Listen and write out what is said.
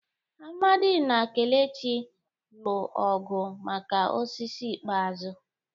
Amadi na kelechi lụ ọgụ maka osisi ikpeazụ.